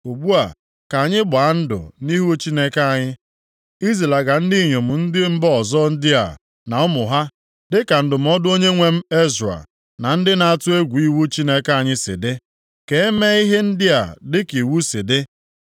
Ugbu a ka anyị gbaa ndụ nʼihu Chineke anyị, izilaga ndị inyom ndị mba ọzọ ndị a na ụmụ ha dịka ndụmọdụ onyenwe m Ezra, na ndị na-atụ egwu iwu Chineke anyị si dị. Ka e mee ihe ndị a dịka iwu si dị.